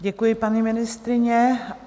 Děkuji, paní ministryně.